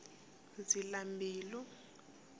zilambilu